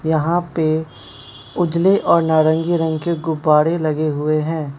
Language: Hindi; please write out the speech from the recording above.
यहां पे उजले और नारंगी रंग के गुब्बारे लगे हुए हैं।